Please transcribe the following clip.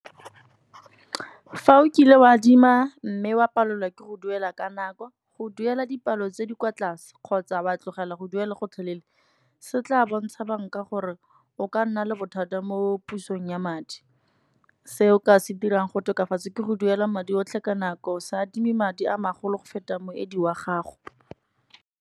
Fa o kile wa adima mme wa palelwa ke go duela ka nako, go duela dipalo tse di kwa tlase kgotsa wa tlogela go duela gotlhelele. Se tla bontsha bank-a gore o ka nna le bothata mo pusong ya madi. Se o ka se dirang go tokafatsa, ke go duela madi otlhe ka nako, se adime madi a magolo go feta moedi wa gago.